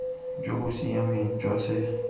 jo bo siameng jwa se